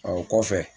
o kɔfɛ